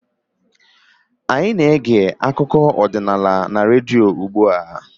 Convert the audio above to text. Anyị na-ege akụkọ ọdịnala na redio ugbu a